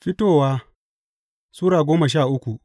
Fitowa Sura goma sha uku